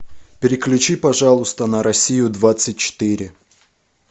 переключи пожалуйста на россию двадцать четыре